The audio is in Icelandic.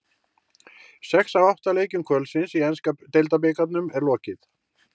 Sex af átta leikjum kvöldsins í enska deildabikarnum er lokið.